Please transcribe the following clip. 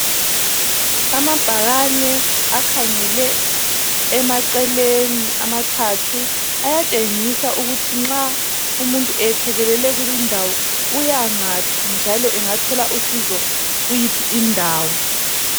Amabhakane akhangele emaceleni amathathu ayatshengisa ukuthi nxa umuntu ethekelele kulindawo uyangaphi njalo engathola usizo kuyiphi indawo.